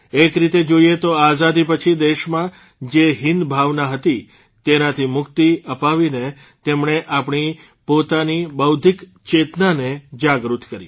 એક રીતે જોઇએ તો આઝાદી પછી દેશમાં જે હીનભાવના હતી તેનાથી મુક્તિ અપાવીને તેમણે આપણી પોતાની બૌધ્ધિક ચેતનાને જાગૃત કરી